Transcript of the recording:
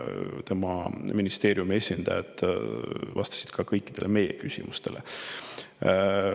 Tema ministeeriumi esindajad vastasid ka kõikidele küsimustele.